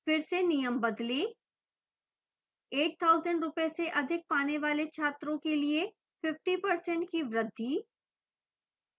फिर से नियम बदलें 8000 रूपये से अधिक पाने वाले छात्रों के लिए 50% की वृद्धि